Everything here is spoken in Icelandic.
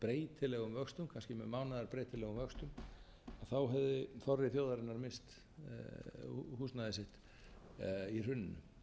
kannski með mánaðar breytilegum vöxtum hefði þorri þjóðarinnar misst húsnæði sitt í hruninu